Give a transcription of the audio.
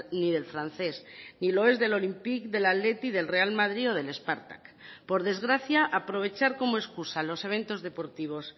ni del francés ni lo es del olympique del athletic del real madrid o del spartak por desgracia aprovechar como excusa los eventos deportivos